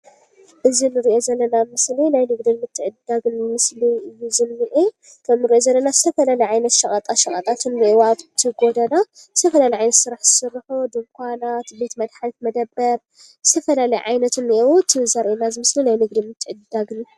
እዚ ንሪኦ ዘለና ምስሊ ናይ ንግድን ምትዕድዳግን ምስሊ እዩ ዝንኤ፡፡ ከምንሪኦ ዘለና ዝተፈላለየ ዓይነት ሸቐጣ ሸቐጣት እንሄዉ ኣብቲ ጎዳና ዝተፈላለዩ ዓይነት ስራሕ ዝሰርሑ ድንዃናት፣ ቤት መድሓኒት መደበር፣ ዝተፈላለዩ ዓይነት እንሄዉ፡፡ እቲ ዘርእየና እዚ ምስሊ ናይ ንግድን ምትዕድዳግን እዩ፡፡